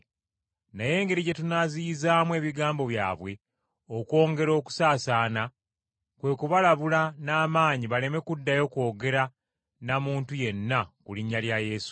Naye engeri gye tunaaziyizaamu ebigambo byabwe okwongera okusaasaana kwe kubalabula n’amaanyi baleme kuddayo kwogera na muntu yenna ku linnya lya Yesu.”